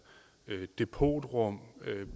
og depotrum